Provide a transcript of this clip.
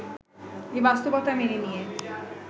এই বাস্তবতা মেনে নিয়ে